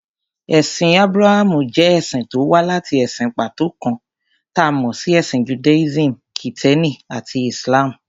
Ẹ̀sìn Ábúráhámù jẹ́ ẹ̀sìn tó wá láti ẹ̀sìn pàtó kan, ta mọ̀ sí Ẹ̀sìn Judaism, Kìtẹ́ẹ́nì àti Islam.